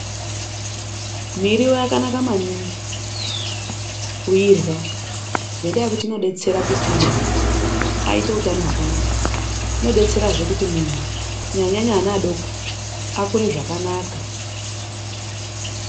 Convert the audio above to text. Miriwo yakanaka maningi kuirya nendaya yekuti inodetsera kuti munhu aite hutano hwakanaka, unodetserazve kuti muntu kunyanyanyanya vana vadoko akure zvakanaka.